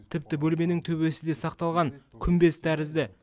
тіпті бөлменің төбесі де сақталған күмбез тәрізді